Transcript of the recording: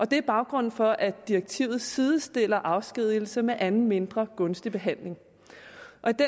det er baggrunden for at direktivet sidestiller afskedigelse med anden mindre gunstig behandling